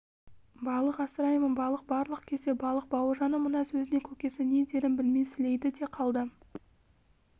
балық асыраймын балық барлық кезде балық бауыржанның мына сөзіне көкесі не дерін білмей сілейді де қалды